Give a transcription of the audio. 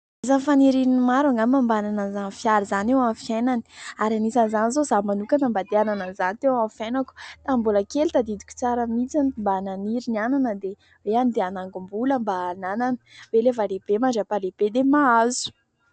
Isan'ny fanirian'ny maro angambany mba hanana izany fiara izany eo amin'ny fiainany ary anisan'izany izao izaho manokana mba te hanana izany teo amin'ny fiainako. Tamin'ny mbola kely tadidiko tsara mitsiny mba naniry ny hanana dia hoe mba handeha hanangom-bola mba hananana hoe rehefa lehibe mandram-pahalehibe dia mahazo.